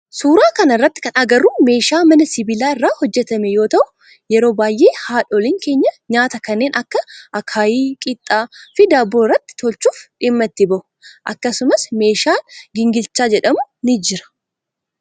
Suuraa kana irratti kan agarru meeshaa mana sibilaa irraa hojjetame yoo ta'u yeroo baayyee haadhoolin keenya nyaata kanneen akka akaayii, qixxaa fi daabboo irratti tolchuf dhimma itti bahu. Akkasumas meeshan gingilchaa jedhamu ni jira.